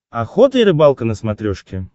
охота и рыбалка на смотрешке